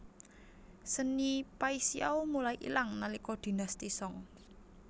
Seni Paixiao mulai ilang nalika Dinasti Song